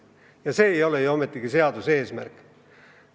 Ja see ei ole ju ometigi seaduse eesmärk.